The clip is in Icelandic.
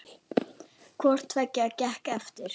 Hvort tveggja gekk eftir.